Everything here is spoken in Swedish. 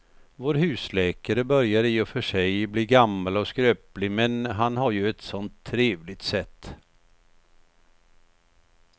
Vår husläkare börjar i och för sig bli gammal och skröplig, men han har ju ett sådant trevligt sätt!